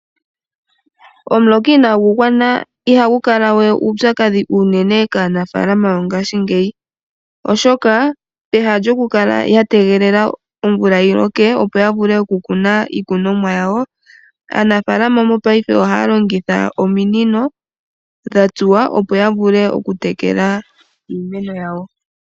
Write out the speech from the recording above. Omuloka inaagu gwana ihagu kala we uupyakadhi kaanafaalama yongashingeyi, oshoka pehala lyokukala ya tegelela omvula yi loke, opo ya vule okukala ya kuna iikunomwa yawo, aanafaalama mopaife ohaya longitha ominino dha tsuwa oombululu, opo ya vule okutekela iimeno yawo.